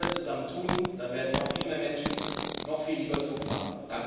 Wenn wir das alle zusammen tun, dann werden noch viel mehr Menschen noch viel lieber Zug fahren.